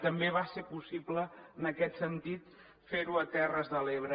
també va ser possible en aquest sentit fer ho a terres de l’ebre